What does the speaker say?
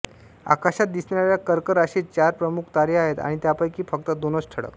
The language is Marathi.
आकाशात दिसणाऱ्या कर्क राशीत चार प्रमुख तारे आहेत आणि त्यांपैकी फक्त दोन ठळक